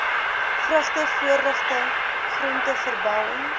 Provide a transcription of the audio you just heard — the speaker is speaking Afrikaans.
vrugte voorligting groenteverbouing